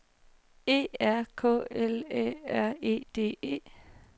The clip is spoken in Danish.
E R K L Æ R E D E